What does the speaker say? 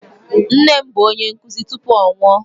Nne m bụ onye nkụzi tupu ọ nwụọ.